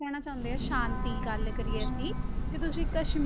ਰਹਿਣਾ ਚਾਹੁੰਦੇ ਸ਼ਾਂਤੀ ਗੱਲ ਕਰੀਏ ਅਸੀਂ, ਤੁ ਤੁਸੀਂ ਕਸ਼ਮ~